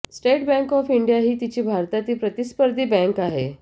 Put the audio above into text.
state bank of India ही तिची भारतातील प्रतिस्पर्धी बॅंक आहे